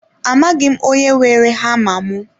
Amaghị m onye weere hama mụ